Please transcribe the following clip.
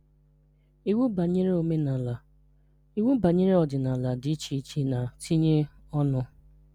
Iwu Banyere Omenala: Iwu banyere ọdịnala dị iche iche na ntinye ọnụ.